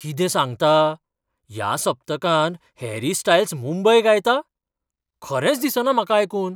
कितें सांगता? ह्या सप्तकांत हॅरी स्टायल्स मुंबय गायता? खरेंच दिसना म्हाका आयकून.